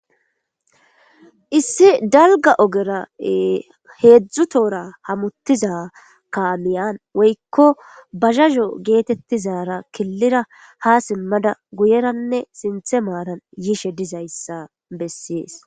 issi dalga ogera heedzdzu toora hamuttiza kamiyan woykko bazazo geetettizara killira ha simmada guyeranne sinthe maaran yishe dizayssa bessies